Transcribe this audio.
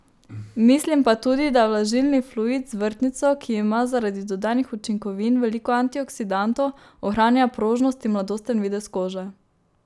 Mislim pa tudi, da vlažilni fluid z vrtnico, ki ima zaradi dodanih učinkovin veliko antioksidantov, ohranja prožnost in mladosten videz kože.